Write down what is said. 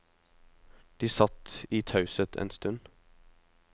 De satt i taushet en stund.